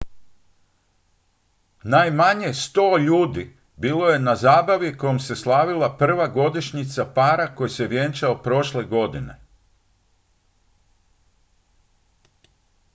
najmanje 100 ljudi bilo je na zabavi kojom se slavila prva godišnjica para koji se vjenčao prošle godine